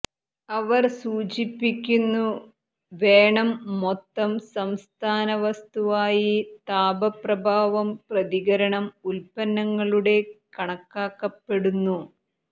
അവർ സൂചിപ്പിക്കുന്നു വേണം മൊത്തം സംസ്ഥാന വസ്തുവായി താപ പ്രഭാവം പ്രതികരണം ഉൽപ്പന്നങ്ങളുടെ കണക്കാക്കപ്പെടുന്നു